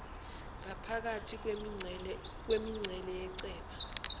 ngaphakathi kwemincele yechweba